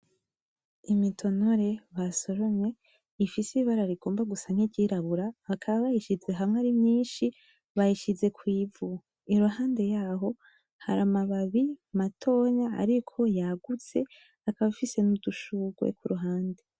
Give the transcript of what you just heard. Imitonore, basoromye, ifise ibara rigomba gusa nk'iryirabura, bakaba bayishize hamwe ari myinshi bayishize kw'ivu. Iruhande yaho, hari amababi matonya ariko yagutse, akaba afise n'udushugwe kuruhande.